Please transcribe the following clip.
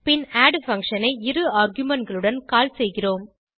பின் add function ஐ இரு argumentகளுடன் கால் செய்கிறோம்